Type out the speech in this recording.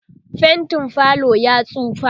faintin falo yayi tsufa